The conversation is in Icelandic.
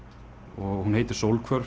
og hún heitir